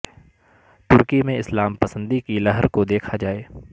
ترکی میں اسلام پسندی کی لہر کو دیکھا جائے